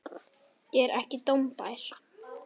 Ég er ekki dómbær.